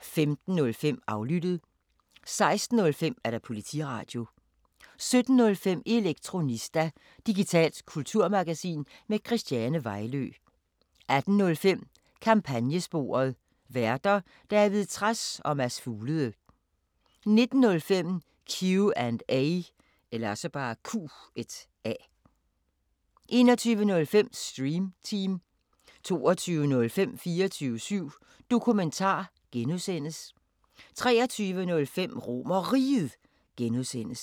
15:05: Aflyttet 16:05: Politiradio 17:05: Elektronista – digitalt kulturmagasin med Christiane Vejlø 18:05: Kampagnesporet: Værter: David Trads og Mads Fuglede 19:05: Q&A 21:05: Stream Team 22:05: 24syv Dokumentar (G) 23:05: RomerRiget (G) 00:00: